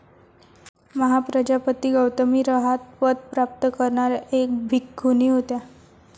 महाप्रजापती गौतमी रहात पद प्राप्त करणाऱ्या एक भिक्खुणी होत्या.